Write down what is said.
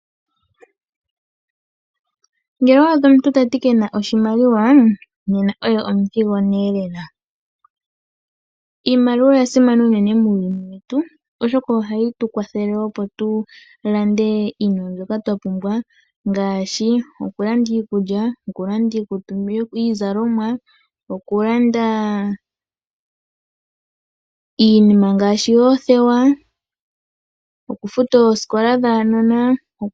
Ngele owa adha omuntu ta ti kutya ke na oshimaliwa, ne na oye omuthigona lela. Iimaliwa oya simana unene muuyuni wetu, oshoka ohayi tu kwathele opo tu lande iinima mbyoka twa pumbwa ngaashi okulanda iikulya, okulanda iikutu nenge iizalomwa, okulanda iinima ngaashi oothewa nokufuta oosikola dhaanona.